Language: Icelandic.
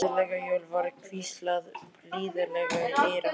Gleðileg jól var hvíslað blíðlega í eyra hans.